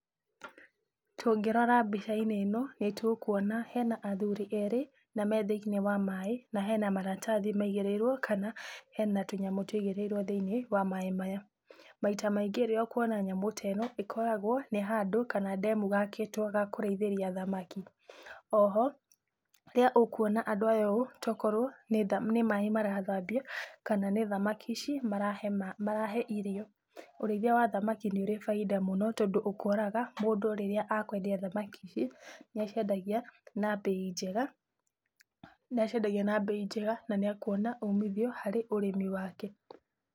Tũngĩrora mbica-inĩ ĩno, nĩtũkuona hena athuri erĩ, na me thĩinĩ wa maĩ, na hena maratathi maigĩríĩrwo kana hena tũnyamũ tũigĩrĩrwo thĩinĩ, wa maĩ maya. Maita maingĩ rĩrĩa ũkuona nyamũ ta ĩno ĩkoragwo nĩ handũ kana ndemu gakĩtwo ga kũrĩithĩria thamaki. Oho, rĩrĩa ũkuona andũ aya ũũ, tokorwo nĩ maĩ marathambia, kana nĩ thamaki ici marahe irio. Ũrĩithia wa thamaki nĩ ũrĩ bainda mũno tondũ ũkoraga mũndũ rĩrĩa akwendia thamaki ici, nĩ aciendagia na mbei njega, nĩ aciendagia na mbei njega na nĩ ekuona umithio harĩ ũrĩmi wake.